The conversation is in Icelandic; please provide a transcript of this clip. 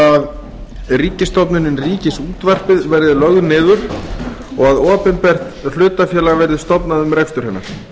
að ríkisstofnunin ríkisútvarp verði lögð niður og að opinbert hlutafélag verði stofnað um rekstur hennar